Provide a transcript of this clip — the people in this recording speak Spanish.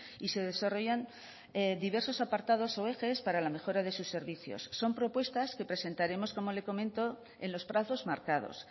y se desarrollan diversos apartados o ejes para la mejora de sus servicios son propuestas que presentaremos como le comento en los plazos marcados